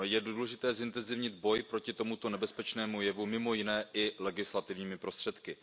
Je důležité zintenzivnit boj proti tomuto nebezpečnému jevu mimo jiné i legislativními prostředky.